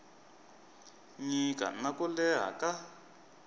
nyika na ku leha ka